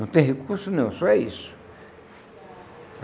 Não tem recurso nenhum, só é isso.